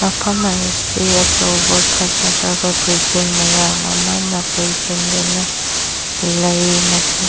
ꯃꯐꯝ ꯑꯁꯦ ꯑꯆꯧꯕ ꯐꯖꯈ꯭ꯔꯕ ꯕꯤꯜꯗꯤꯡ ꯃꯌꯝ ꯑꯃꯅ ꯀꯣꯢꯁꯤꯟꯗꯨꯅ ꯂꯩ ꯃꯁꯤ --